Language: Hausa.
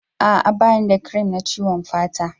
A'a ba ni da cream na ciwon fata